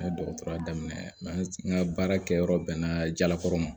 N ye dɔgɔtɔrɔya daminɛ n ka baarakɛyɔrɔ bɛnna jalakɔrɔ ma